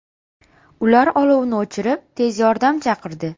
Ular olovni o‘chirib, tez yordam chaqirdi.